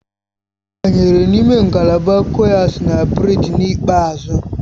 Ọ banyere n'ime ngalaba kuays na berth n'ikpeazụ